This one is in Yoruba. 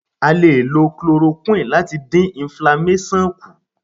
A lè lo Chloroquine láti dín inflamasion kù.